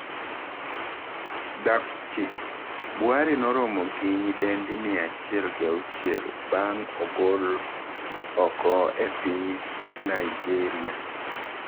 Daptchi: Buhari noromo gi nyidendi mia achiel gi auchiel bang' ogol oko e piny Naijeria